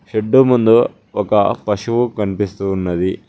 Shed ముందు ఒక పశువు కనిపిస్తూ ఉన్నది.